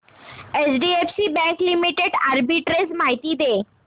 HDFC bank limited arbitrage माहिती दे